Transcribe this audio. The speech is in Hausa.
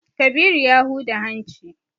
Kabiru ya huda hanci.